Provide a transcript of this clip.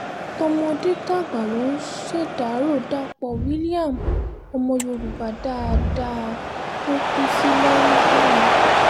tọmọdé-tàgbà ló ń ṣèdàrọ́ dapò williams ọmọ yorùbá dáadáa tó kù sí london